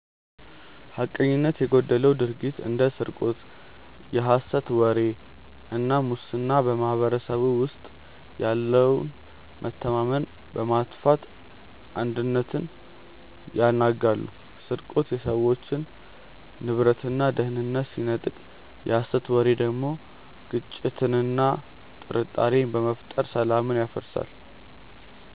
ሐቀኝነት የጎደለው ድርጊት እንደ ስርቆት፣ የሐሰት ወሬ እና ሙስና በማኅበረሰቡ ውስጥ ያለውን መተማመን በማጥፋት አንድነትን ያናጋሉ። ስርቆት የሰዎችን ንብረትና ደህንነት ሲነጥቅ፣ የሐሰት ወሬ ደግሞ ግጭትንና ጥርጣሬን በመፍጠር ሰላምን ያደፈርሳል።